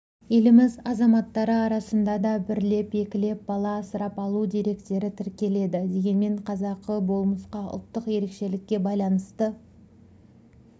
еліміз азаматтары арасында да бірлеп-екілеп бала асырап алу деректері тіркеледі дегенмен қазақы болмысқа ұлттық ерекшелікке байланысты